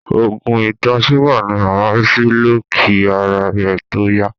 Oògùn ìtọ̀-súgà ni màmá Rísí lò kí ara rẹ̀ tó yá.